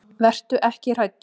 Vertu ekki hræddur.